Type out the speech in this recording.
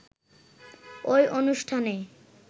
ওই অনুষ্ঠানে